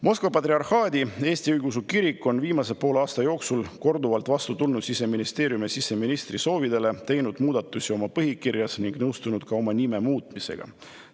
Moskva Patriarhaadi Eesti Õigeusu Kirik on viimase poole aasta jooksul korduvalt vastu tulnud Siseministeeriumi ja siseministri soovidele, teinud muudatusi oma põhikirjas ning nõustunud ka oma nime muutmisega.